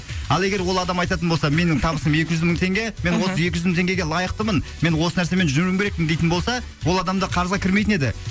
ал егер ол адам айтатын болса менің табысым екі жүз мың теңге мен осы екі жүз мың теңгеге лайықтымын мен осы нәрсемен жүруім керекпін дейтін болса ол адамдар қарызға кірмейтін еді